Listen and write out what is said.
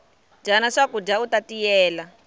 dyana swakudya uta tiyela